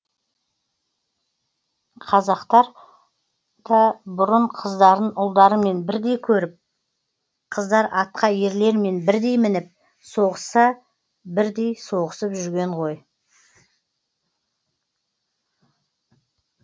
қазақтар да бұрын қыздарын ұлдарымен бірдей көріп қыздар атқа ерлермен бірдей мініп соғысса бірдей соғысып жүрген ғой